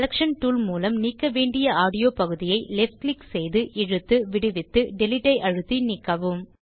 selection tool மூலம் நீக்க வேண்டிய ஆடியோ பகுதியை left கிளிக் செய்து இழுத்துவிடுவித்து டிலீட் அழுத்தி நீக்கவும்